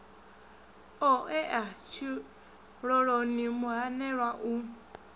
o ea tshiloloni muhanelwa u